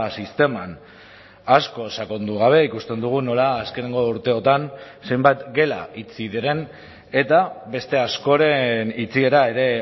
sisteman asko sakondu gabe ikusten dugu nola azkeneko urteotan zenbat gela itxi diren eta beste askoren itxiera ere